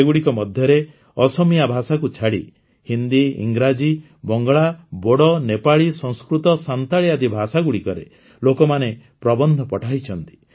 ଏଗୁଡ଼ିକ ମଧ୍ୟରେ ଅସମୀୟା ଭାଷାକୁ ଛାଡ଼ି ହିନ୍ଦୀ ଇଂରାଜୀ ବଙ୍ଗଳା ବୋଡ଼ୋ ନେପାଳୀ ସଂସ୍କୃତ ସାଁତାଲୀ ଆଦି ଭାଷାଗୁଡ଼ିକରେ ଲୋକମାନେ ପ୍ରବନ୍ଧ ପଠାଇଛନ୍ତି